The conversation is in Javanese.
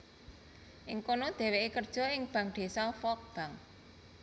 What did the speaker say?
Ing kono dhèwèké kerja ing Bank Désa Volk bank